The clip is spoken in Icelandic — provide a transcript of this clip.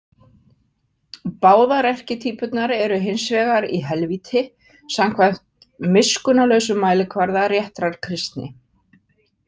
Báðar erkitýpurnar eru hins vegar í helvíti samkvæmt miskunnarlausum mælikvarða réttar kristni.